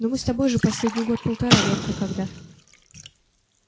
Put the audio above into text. но мы с тобой же последний год-полтора редко когда